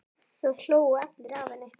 Það hlógu allir að henni.